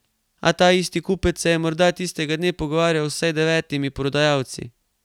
A ta isti kupec se je morda tistega dne pogovarjal z vsaj devetimi prodajalci ...